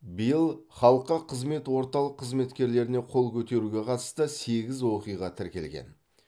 биыл халыққа қызмет орталық қызметкерлеріне қол көтеруге қатысты сегіз оқиға тіркелген